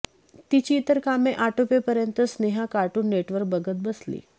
तिची इतर कामे आटोपेपर्यंत स्नेहा कार्टून नेटवर्क बघत बसली